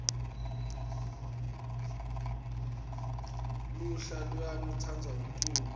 lulha luyainu tsandza umculo